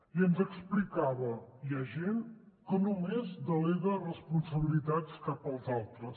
i ens explicava hi ha gent que només delega responsabilitats cap als altres